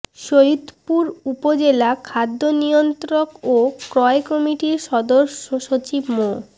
সৈয়দপুর উপজেলা খাদ্য নিয়ন্ত্রক ও ক্রয় কমিটির সদস্য সচিব মো